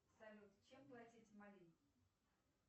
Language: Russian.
салют чем платить в мали